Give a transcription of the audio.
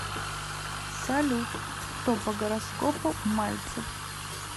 салют кто по гороскопу мальцев